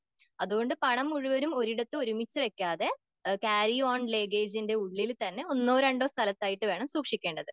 അതുകൊണ്ട് പണം മുഴുവനും ഒരിടത്ത് ഒരുമിച്ച് വെക്കാതെ ക്യാരിയോൺ ലെഗേജിന്റെ ഉള്ളിൽത്തന്നെ ഒന്നോ രണ്ടോ സ്ഥലത്തായിട്ട് വേണം സൂക്ഷിക്കേണ്ടത്.